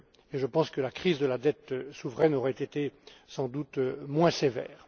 Je pense que la crise de la dette souveraine aurait été sans doute moins sévère.